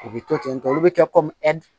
U bi to ten tɔ olu bɛ kɛ